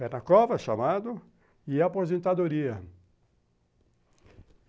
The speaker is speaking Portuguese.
pé na cova, chamado, e aposentadoria.